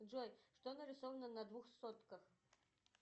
джой что нарисовано на двух сотках